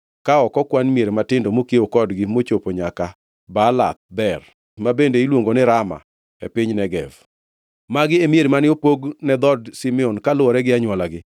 ka ok okwan mier matindo mokiewo kodgi mochopo nyaka Baalath Beer (ma bende iluongo ni Rama e piny Negev). Magi e mier mane opog ne dhood Simeon kaluwore gi anywolagi.